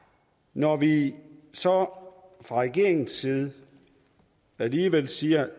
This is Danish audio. når vi så fra regeringens side alligevel siger